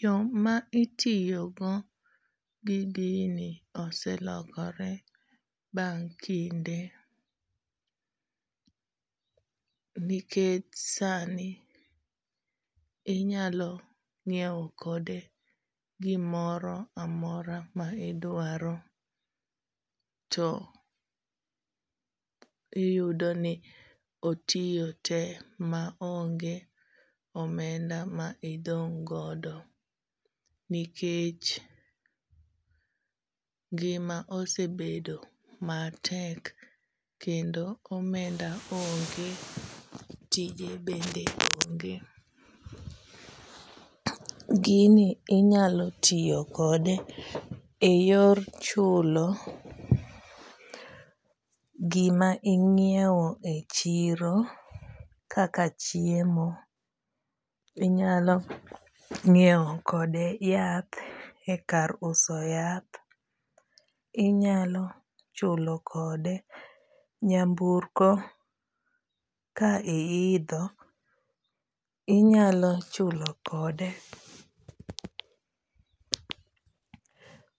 Yo ma itiyogo gi gini oselokore bang' kinde, nikech sani, inyalo nyiewo kode gimoro amora ma idwaro. To iyudo ni otiyo te ma onge omenda ma idong' godo. Nikech ngima osebedo matek kendo omenda onge, tije bende onge. Gini inyalo tiyo kode eyor chulo gima inyiewo e chiro kaka chiemo. Inyalo nyiewo kode yathe kar uso yath. Inyalo chulo kode nyamburko ka iidho. Inyalo chulo kode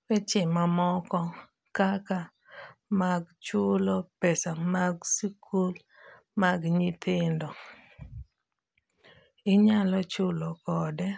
weche mamoko kaka mag chulo pesa mag sikul mag nyithindo. Inyalo chulo kode.